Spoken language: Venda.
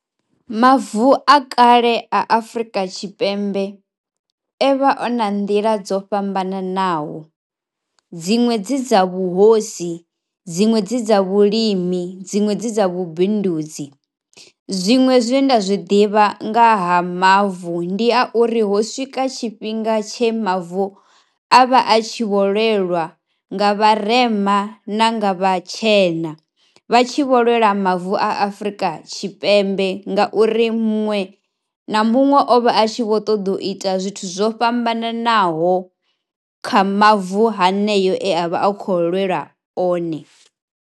Mavu a kale a Afrika Tshipembe e vha a na nḓila dzo fhambananaho dziṅwe dzi dza vhuhosi, dziṅwe dzi dza vhulimi, dziṅwe dzi dza vhubindudzi. Zwiṅwe zwe nda zwi ḓivha nga ha mavu ndi a uri ho swika tshifhinga tshe mavu a vha a tshi vho lwelwa nga vharema na nga vhatshena, vha tshi vho lwela mavu a Afrika Tshipembe ngauri muṅwe na muṅwe o vha a tshi vho ṱoḓa u ita zwithu zwo fhambananaho kha mavu haneyo e a vha a khou lwelwa one.